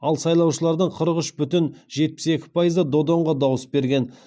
ал сайлаушылардың қырық үш бүтін жетпіс екі пайызы додонға дауыс берген